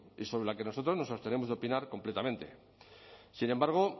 y sobre la que nosotros nos abstenemos de opinar completamente sin embargo